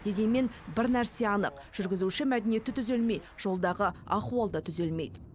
дегенмен бір нәрсе анық жүргізуші мәдениеті түзелмей жолдағы ахуал да түзелмейді